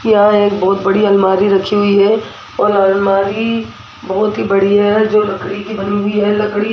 यहां एक बहोत बड़ी अलमारी रखी हुई है और अलमारी बहोत ही बड़ी है जो लकड़ी की बनी हुई है लकड़ी --